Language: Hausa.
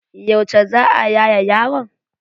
Yauce za a yaye yaron?